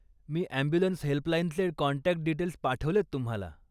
मी ambulance हेल्पलाईनचे contact details पाठवलेत तुम्हाला.